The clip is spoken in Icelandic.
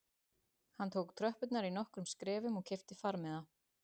Hann tók tröppurnar í nokkrum skrefum og keypti farmiða